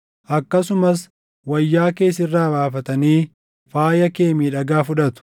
Akkasumas wayyaa kee sirraa baafatanii faaya kee miidhagaa fudhatu.